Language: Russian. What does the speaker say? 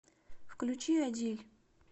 включи адиль